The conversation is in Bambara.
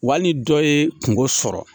Waa ni dɔ ye kungo sɔrɔ.